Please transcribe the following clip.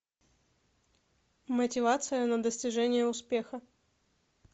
мотивация на достижение успеха